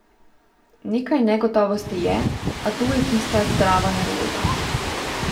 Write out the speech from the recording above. Nekaj negotovosti je, a to je tista zdrava nervoza.